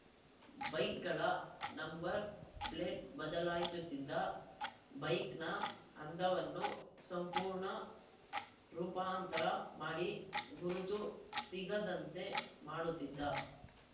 ಬೈಕ್‌ಗಳ number plate ಬದಲಾಯಿಸುತ್ತಿದ್ದ ಬೈಕ್‌ನ ಅಂದವನ್ನು ಸಂಪೂರ್ಣ ರೂಪಾಂತರ ಮಾಡಿ ಗುರುತು ಸಿಗದಂತೆ ಮಾಡುತ್ತಿದ್ದ